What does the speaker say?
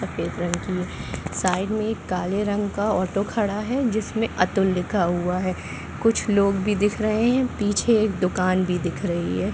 सफ़ेद रंग की साइड में एक काले रंग का ऑटो खड़ा है जिसमें अतुल लिखा हुआ है कुछ लोग भी दिख रहे है पीछे एक दुकान भी दिख रही है।